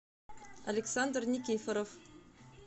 александр никифоров